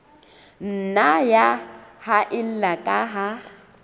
nna ya haella ka ha